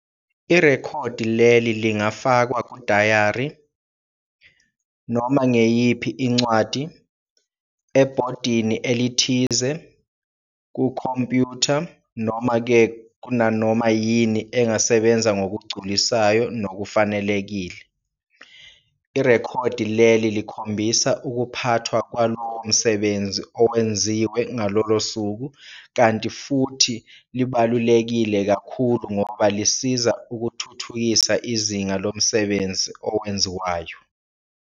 Irekhodi leli lingafakwa kudayari, noma ngeyiphi incwadi, ebhodini elithize, kukhompyutha noma-ke kunanoma yini engasebenza ngokugculisayo nokufanelekile. Irekhodi leli likhombisa ukuphathwa kwalowo msebenzi owenziwe ngalolo suku kanti futhi libalulekile kakhulu ngoba lisiza ukuthuthukisa izinga lomsebenzi owenziwayo.